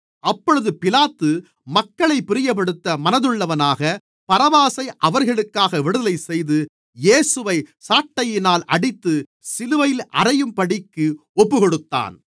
அப்பொழுது பிலாத்து மக்களைப் பிரியப்படுத்த மனதுள்ளவனாக பரபாசை அவர்களுக்காக விடுதலைசெய்து இயேசுவை சாட்டையினால் அடித்து சிலுவையில் அறையும்படிக்கு ஒப்புக்கொடுத்தான்